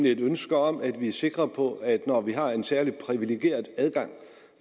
et ønske om at vi sikre på at når vi har en særlig privilegeret adgang